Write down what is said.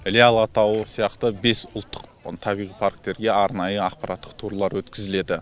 іле алатауы сияқты бес ұлттық табиғи парктерге арнайы ақпараттық турлар өткізіледі